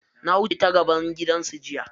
Na wuce ta gaban gidansu jiya.